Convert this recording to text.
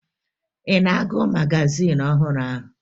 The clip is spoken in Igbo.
Ị na-agụ magazin ọhụrụ ahụ?